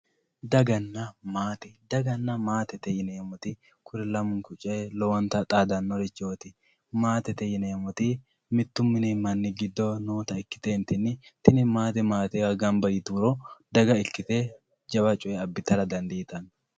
dagganna maate dagganna maatete yineemoti kuni lamunku coye lowonta xaadanorichooti maatete yineemoti mitu mini manni giddo noota ikiteentinni tini maate maatewa gamba yitiro daga ikkite jawa coye abbitara dandiitanno.